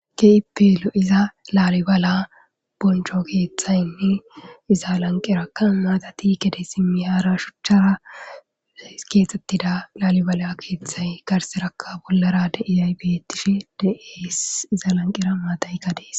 Keipeelo iza laalibala boncho keeththaynne iza lanqeraka maatati kede simmi haara shuchchara keexxettida laalibala keeththay garserakka bollara de iyaybettishi dees iza lanqera maatay kadees.